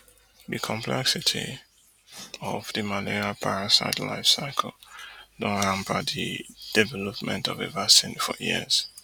di complexity of di malaria parasite life cycle don hamper di development of a vaccine for years